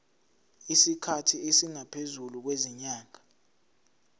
isikhathi esingaphezulu kwezinyanga